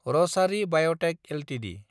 Rasari biotech Ltd